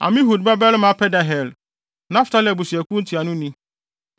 Amihud babarima Pedahel, Naftali abusuakuw ntuanoni.”